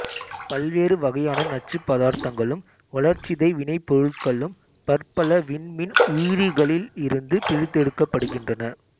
பல்வேறு வகையான நச்சுப்பதார்த்தங்களும் வளர்சிதை வினைபொருட்களும் பற்பல விண்மீன் உயிரிகளில் இருந்து பிரித்தெடுக்கப்படுகின்றன